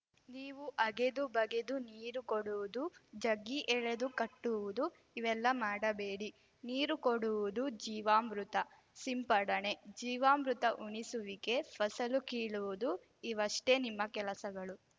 ನೀವು ಅಗೆದು ಬಗೆದು ನೀರು ಕೊಡುವುದುಜಗ್ಗಿ ಎಳೆದು ಕಟ್ಟುವುದು ಇವೆಲ್ಲ ಮಾಡಬೇಡಿ ನೀರು ಕೊಡುವುದು ಜೀವಾಮೃತ ಸಿಂಪಡಣೆ ಜೀವಾಮೃತ ಉಣಿಸುವಿಕೆ ಫಸಲು ಕೀಳುವುದು ಇವಷ್ಟೇ ನಿಮ್ಮ ಕೆಲಸಗಳು